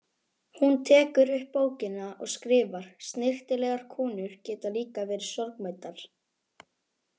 Hún tekur upp bókina og skrifar: Snyrtilegar konur geta líka verið sorgmæddar.